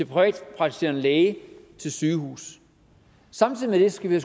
privatpraktiserende læge til sygehus samtidig med det skal vi